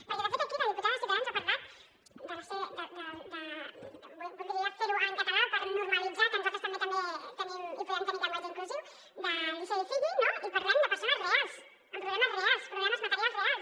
perquè de fet aquí la diputada de ciutadans ha parlat de voldria fer ho en català per normalitzar que nosaltres també tenim i podem tenir llenguatge inclusiu li sevi filli no i parlem de persones reals amb problemes reals problemes materials reals